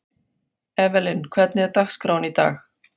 Evelyn, hvernig er dagskráin í dag?